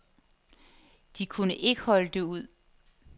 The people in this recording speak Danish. De kunne ikke holde det ud.